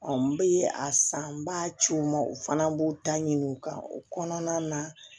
n bɛ a san ba ci o ma o fana b'o ta ɲini u kan o kɔnɔna na